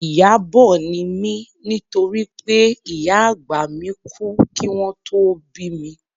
Ìyábọ̀ ni mí nítorí pé ìyá àgbà mi kú kí wọn tó bí mi